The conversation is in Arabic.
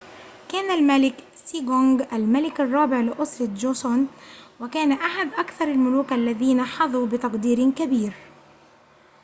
كان الملك سيجونغ الملك الرابع لأسرة جوسون وكان أحد أكثر الملوك الذين حظوا بتقدير كبير